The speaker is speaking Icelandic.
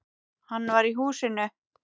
Hann var í húsinu.